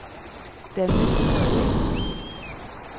Dennis Sørli